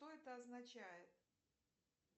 что это означает